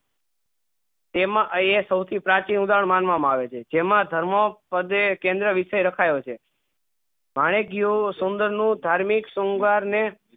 તેમાં અયી એ સૌ થી પ્રાચીન ઉદાહરણ માનવા માં આવે છે જેમાં ધર્મો પદે કેન્દ્રીય વિષય રખાયો છે શૌન્દ્ર નું ધાર્મિક સોમવાર ને